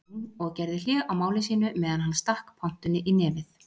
Jón og gerði hlé á máli sínu meðan hann stakk pontunni í nefið.